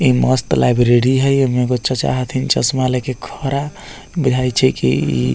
इ मस्त लाइब्रेरी हेय इमे एगो चाचा हथीन चश्मा लेके खड़ा बुझाए छै की --